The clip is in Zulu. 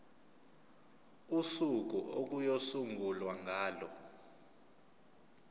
usuku okuyosungulwa ngalo